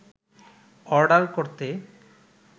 order করতে